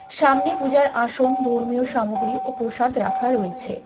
সামনে পুজার আসন ধর্মীয় সামগ্রী ও প্রসাদ রাখা রয়েছে।